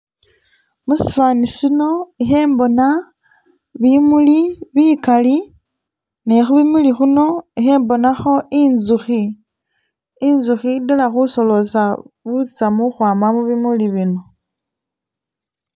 Musifani sino khembona bimuli bikali nekhubimuli'khuno khembonakho intsukhi, intsukhi idaala khusolosa butsamu khukhwama mubimuli bino